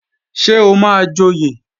Ṣé o máa joyè?